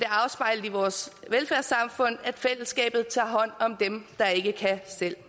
afspejlet i vores velfærdssamfund at fællesskabet tager hånd om dem der ikke kan selv